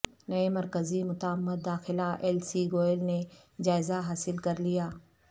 نئے مرکزی معتمد داخلہ ایل سی گوئل نے جائزہ حاصل کر لیا